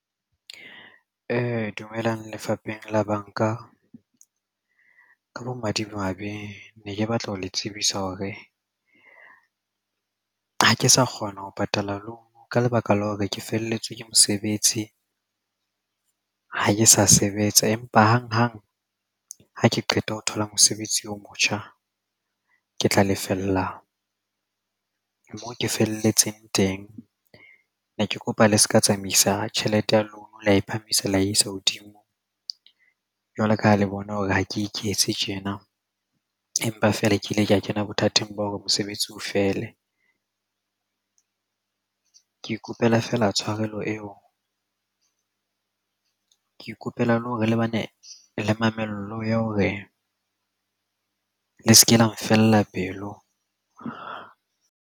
Dumelang lefapheng la bank-a ka bomadimabe ne ke batla ho le tsebisa hore ha ke sa kgona ho patala loan ka lebaka la hore ke felletswe ke mosebetsi. Ha ke sa sebetsa, empa hanghang ha ke qeta ho thola mosebetsi o motjha ke tla lefella moo ke felletseng teng. Ne ke kopa le se ke tsamaisa tjhelete ya lona la e phamisa la isa hodimo jwalo ka ha le bona hore ha ke iketse tjena empa fela ke ile ka kena bothateng bo hore mosebetsi o fele. Ke ikopela feela tshwarelo eo ke ikopela le hore le bane le mamello ya hore le se ke la nfella pelo.